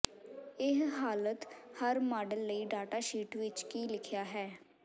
ਇਹ ਹਾਲਤ ਹਰ ਮਾਡਲ ਲਈ ਡਾਟਾ ਸ਼ੀਟ ਵਿਚ ਕੀ ਲਿਖਿਆ ਹੈ